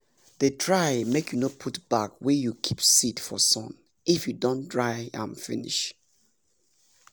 dey try make you no put bag wey you keep seed for sun if you don dry m finish